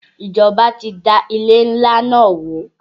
Ìjọba ti da ilé ńlá náà wó.